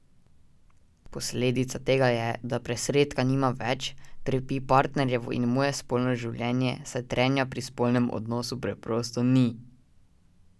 Posledica tega je, da presredka nimam več, trpi partnerjevo in moje spolno življenje, saj trenja pri spolnem odnosu preprosto ni.